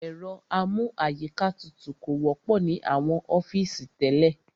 Ẹ̀rọ amú àyíká tutù kò wọ́pọ̀ ní àwọn ọ́fìsì tẹ́lẹ̀.